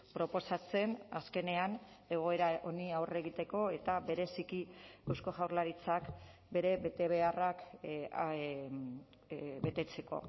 proposatzen azkenean egoera honi aurre egiteko eta bereziki eusko jaurlaritzak bere betebeharrak betetzeko